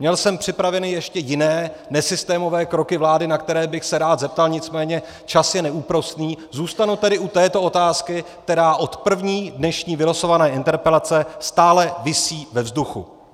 Měl jsem připravené ještě jiné nesystémové kroky vlády, na které bych se rád zeptal, nicméně čas je neúprosný, zůstanu tedy u této otázky, která od první dnešní vylosované interpelace stále visí ve vzduchu.